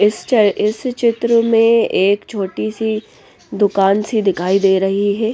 इस चित्र में एक छोटी सी दुकान सी दिखाई दे रही है।